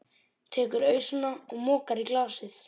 Tekur ausuna og mokar í glasið.